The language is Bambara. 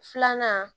Filanan